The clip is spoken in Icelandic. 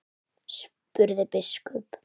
spurði biskup.